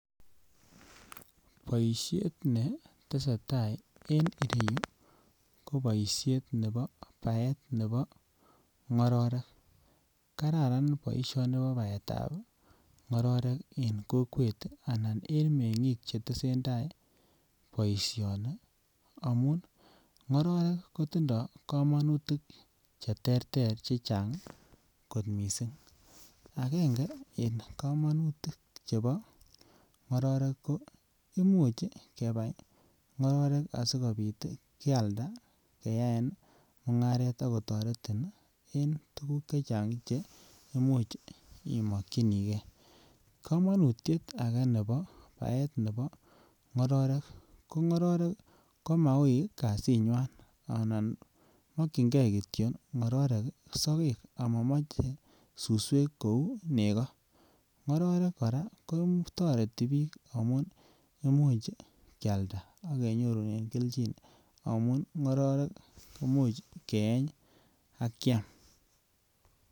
Boishet ne tesetai en ireyu ko boishet nebo baet nebo ngororek kararan boisioni bo baetab ngororek en kokwet anan en mengik che tesentai boisioni amun ngororek kotindo komonutik che terter che Chang kot missing angenge en komonutik chebo ngororek ko imuch kebai ngororek asikopit ii kianda keyaen mungaret Ako toretin en tuguk chechang che imuch imokyingee. Komonutiet agee nebo baet nebo ngororek ko ngororek ko mauu kazinywan anan mokyingee kityo ngororek sogek Omo moche che suswek kouu nego, ngororek koraa ko toreti biik amun imuch kyalda akenyoruren kelchin amun ngororek komuch keeny ak kyam.